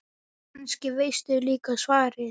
Kannski veistu líka svarið.